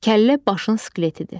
Kəllə başın skeletidir.